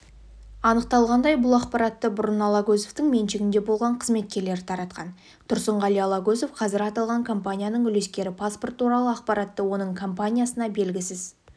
анықталғандай бұл ақпаратты бұрын алагөзовтың меншігінде болған қызметкерлері таратқан тұрсынғали алагөзов қазір аталған компанияның үлескері паспорт туралы ақпаратты оның компаниясына белгісіз